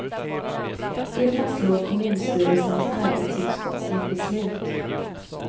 Det fastslår kommunstyrelsens arbetsutskott i ett beslut.